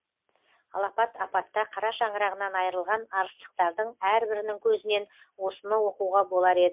алапат апатта қара шаңырағынан айырылған арыстықтардың әрбірінің көзінен осыны оқуға болар еді